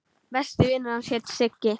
Besti vinur hans hét Siggi.